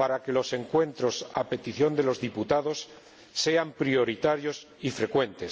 para que las reuniones a petición de los diputados sean prioritarias y frecuentes.